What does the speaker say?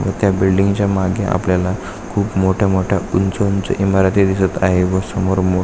व त्या बिल्डिंग च्या मागे आपल्याला खूप मोठ्या मोठ्या उंच उंच इमारती दिसत आहे व समोर मो--